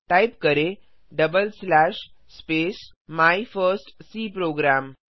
type करें double slash space my first C programme